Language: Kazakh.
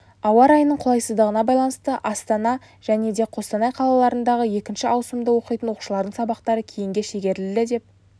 ауа райының қолайсыздығына байланысты астана және қостанай қалаларындағы екінші ауысымда оқитын оқушылардың сабақтары кейінге шегерілді деп